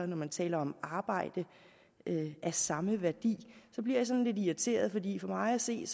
når man taler om arbejde af samme værdi bliver sådan lidt irriteret fordi for mig at se